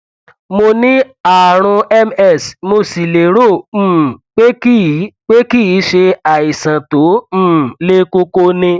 mo ní ààrùn ms mo sì lérò um pé kìí pé kì í ṣe àìsàn tó um le koko ni